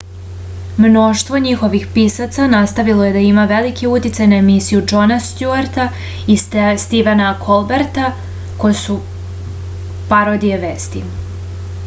mnoštvo njihovih pisaca nastavilo je da ima veliki uticaj na emisije džona stjuarta i stivena kolberta koje su parodije vesti